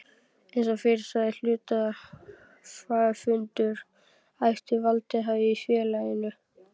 Eins og fyrr sagði er hluthafafundur æðsti valdhafinn í félaginu.